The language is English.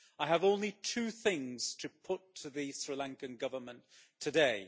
I have only two things to put to the Sri Lankan Government today.